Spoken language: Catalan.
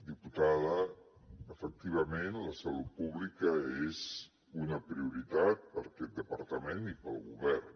diputada efectivament la salut pública és una prioritat per a aquest departament i per al govern